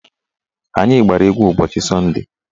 Anyị gbara egwu ụbọchị sọnde